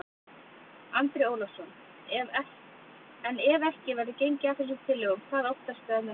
Andri Ólafsson: En ef ekki verður gengið að þessum tillögum, hvað óttastu að muni gerast?